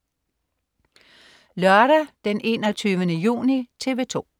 Lørdag den 21. juni - TV 2: